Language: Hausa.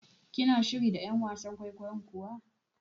Kina shiri da ƴan wasan kwaikwayon kuwa?